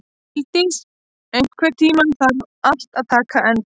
Huldís, einhvern tímann þarf allt að taka enda.